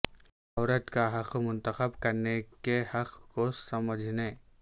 عورت کا حق منتخب کرنے کے حق کو سمجھنے